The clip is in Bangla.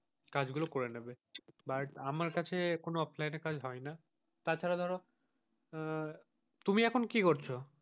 কাজ গুলো করে নেবে but আমার কাছে কোনো এ কাজ হয় না, তাছাড়া ধরো আহ তুমি এখন কি করছো?